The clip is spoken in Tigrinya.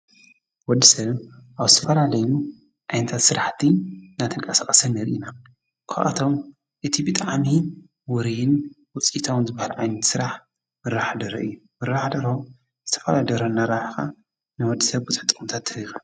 ወድሰብ ኣብ ዝተፈላለዩ ዓይነታት ስራሕቲ ናተንቀሳቀሰ ንርኢና ካብኣቶም እቲ ብጣዕሚ ውርይን ውፅኢታውን ዝበሃል ዓይነት ስራሕ ምርባሕ ደርሆ እዩ። ምርባሕ ደርሆ ዝተፈላለየ ደርሆ እናራባሕካ ንወድሰብ ብዙሕ ጥቅምታት ትህብ ኢካ።